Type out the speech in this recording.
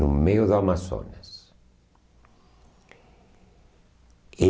No meio do Amazonas. E